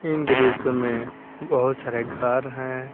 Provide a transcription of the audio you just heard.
इन दृश्य में बहुत सारे घर है।